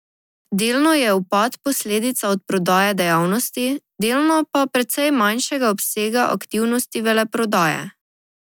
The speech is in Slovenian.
Delno je upad posledica odprodaje dejavnosti, delno pa precej manjšega obsega aktivnosti veleprodaje.